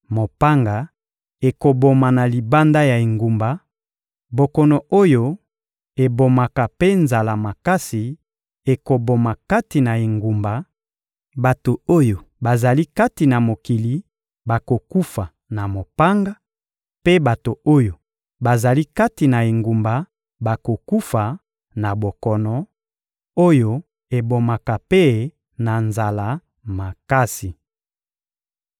Mopanga ekoboma na libanda ya engumba, bokono oyo ebomaka mpe nzala makasi ekoboma kati na engumba; bato oyo bazali kati na mokili bakokufa na mopanga, mpe bato oyo bazali kati na engumba bakokufa na bokono oyo ebomaka mpe na nzala makasi.